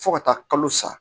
Fo ka taa kalo sa